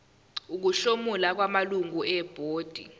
ukuhlomula kwamalungu ebhodi